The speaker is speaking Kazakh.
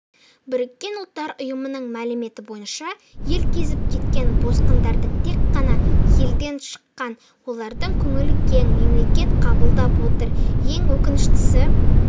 біріккен ұлттар ұйымының мәліметі бойынша ел кезіп кеткен босқындардың тек қана елден шыққан олардың көңілі кең мемлекет қабылдап отыр ең өкініштісі